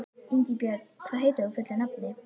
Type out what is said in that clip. Ingibjörn, hvað heitir þú fullu nafni?